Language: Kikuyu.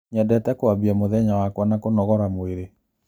Nyendete kwambia mũthenya wakwa na kũnogora mwĩrĩ.